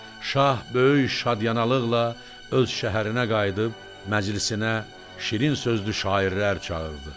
Şah böyük şadyanalıqla öz şəhərinə qayıdıb məclisinə şirin sözlü şairlər çağırdı.